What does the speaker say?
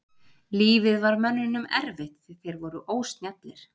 Lífið var mönnunum erfitt því þeir voru ósnjallir.